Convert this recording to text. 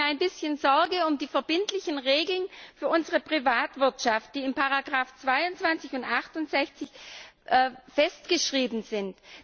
Ich mache mir ein bisschen Sorgen um die verbindlichen Regeln für unsere Privatwirtschaft, die in den Ziffern 22 und 68 festgeschrieben sind.